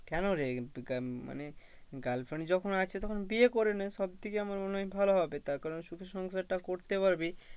কেন রে মানে girlfriend যখন আছে তখন বিয়ে করেনে। সব থেকে আমার মনে হয় ভালো হবে তার কারণ সুখে সংসারটা করতে পারবি।